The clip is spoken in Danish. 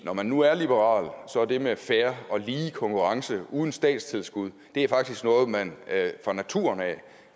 når man nu er liberal er det med fair og lige konkurrence uden statstilskud faktisk noget man fra naturen af